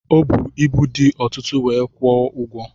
Ọ bu ibu dị ọtụtụ wee kwụọ ụgwọ.